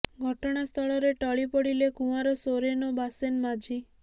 ଘଟଣାସ୍ଥଳରେ ଟଳି ପଡ଼ିଲେ କୁଆଁର ସୋରେନ୍ ଓ ବାସେନ ମାଝି